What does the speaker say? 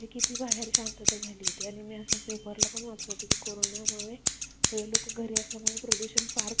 जे लोक घरी असल्यामुळे प्रदूषण फार कमी झालं होतं